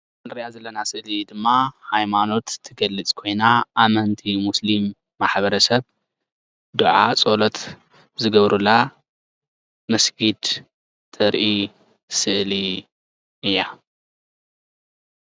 ንሪኣ ዘለና ስእሊ ድማ ሃይማኖት ትገልፅ ኮይና ኣመንቲ ሙስሊም ማሕበረሰብ ዱዓ ፀሎት ዝገብሩላ መስጊድ ተርኢ ስእሊ እያ ።